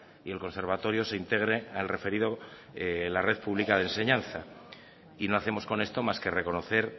y el conservatorio se integre al referido a la red pública de enseñanza y no hacemos con esto más que reconocer